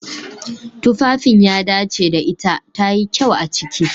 Tufafin ya dace da ita. tayi kyau a ciki.